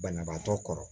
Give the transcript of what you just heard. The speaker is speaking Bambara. Banabaatɔ kɔrɔ